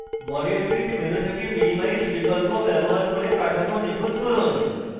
model kit menu থেকে minimize বিকল্প ব্যবহার করে কাঠামো নিখুত করুন